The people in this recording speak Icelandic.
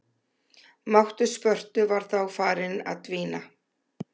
Máttur Spörtu var þá farinn að dvína.